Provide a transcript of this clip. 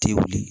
Tɛ wuli